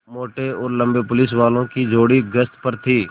मोटे और लम्बे पुलिसवालों की जोड़ी गश्त पर थी